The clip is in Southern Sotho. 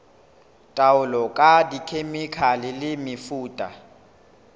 taolo ka dikhemikhale le mefuta